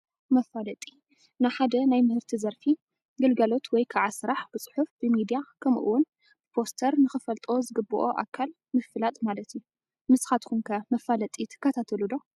መፋለጢ፡- ንሓደ ናይ ምህርቲ ዘርፊ ፣ ግልጋሎት ወይ ከዓ ስራሕ ብፅሑፍ፣ ብሚድያ ከምኡ ውን ብፖስተር ንኽፈልጦ ዝግበኦ ኣካል ምፍላጥ ማለት እዩ፡፡ ንስኻትኩም ከ መፋለጢ ትከታተሉ ዶ